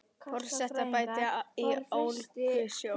Forsetaembætti í Ólgusjó